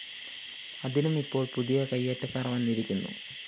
അതിനും ഇപ്പോള്‍ പുതിയ കയ്യേറ്റക്കാര്‍ വന്നിരിക്കുന്നു